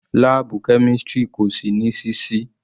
Láàbù chemistry kò sí ní sísí.